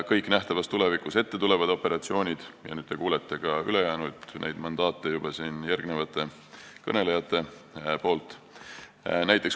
Kõikidest nähtavas tulevikus ette tulevatest operatsioonidest ja ülejäänud mandaatidest kuulete juba järgnevate kõnelejate vahendusel.